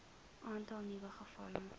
aantal nuwe gevalle